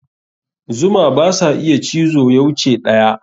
Zuma basa iya cizo ya wuce ɗaya.